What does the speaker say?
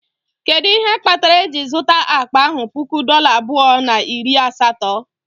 Kedu ihe kpatara eji zụta akpa ahụ puku dollar abụọ na iri asatọ?